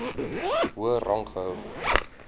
hoër rang gehou